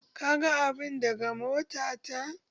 Ka gan abun daga mota ta?